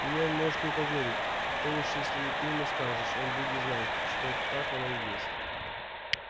мне он может не поверить то уж если ты ему скажешь он будет знать что так оно и есть